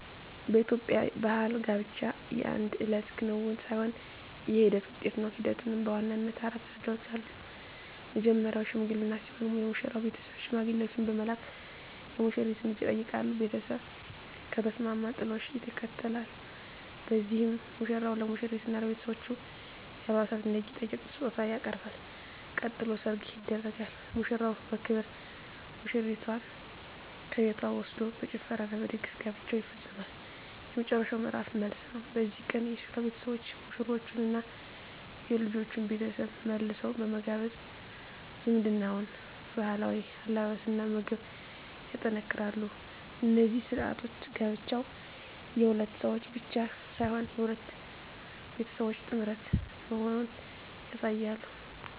በኢትዮጵያ ባሕል ጋብቻ የአንድ እለት ክንውን ሳይሆን የሂደት ውጤት ነው። ሂደቱም በዋናነት አራት ደረጃዎች አሉት። መጀመርያው "ሽምግልና" ሲሆን፣ የሙሽራው ቤተሰብ ሽማግሌዎችን በመላክ የሙሽሪትን እጅ ይጠይቃሉ። ቤተሰብ ከተስማማ "ጥሎሽ" ይከተላል፤ በዚህም ሙሽራው ለሙሽሪትና ለቤተሰቦቿ የአልባሳትና የጌጣጌጥ ስጦታ ያቀርባል። ቀጥሎ "ሰርግ" ይደረጋል፤ ሙሽራው በክብር ሙሽሪትን ከቤቷ ወስዶ በጭፈራና በድግስ ጋብቻው ይፈጸማል። የመጨረሻው ምዕራፍ "መልስ" ነው። በዚህ ቀን የሴቷ ቤተሰቦች ሙሽሮቹንና የልጁን ቤተሰብ መልሰው በመጋበዝ ዝምድናውን በባህላዊ አለባበስና ምግብ ያጠናክራሉ። እነዚህ ሥርዓቶች ጋብቻው የሁለት ሰዎች ብቻ ሳይሆን የሁለት ቤተሰቦች ጥምረት መሆኑን ያሳያሉ።